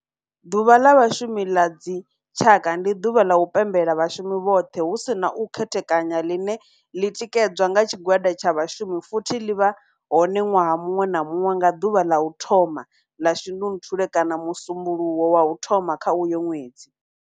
Ḓuvha la Vhashumi la dzi tshaka, ndi duvha la u pembela vhashumi vhothe hu si na u khethekanya line li tikedzwa nga tshigwada tsha vhashumi futhi li vha hone nwaha munwe na munwe nga duvha la u thoma la Shundunthule kana musumbulowo wa u thoma kha uyo nwedzi.